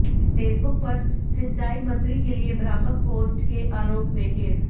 Facebook पर सिंचाई मंत्री के लिए भ्रामक पोस्ट के आरोप में केस